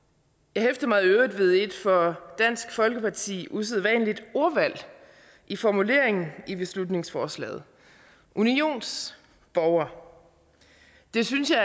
jeg hæftede mig i øvrigt ved et for dansk folkeparti udsædvanligt ordvalg i formuleringen af beslutningsforslaget unionsborger det synes jeg